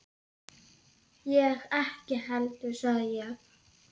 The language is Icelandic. Ég ekki heldur sagði ég.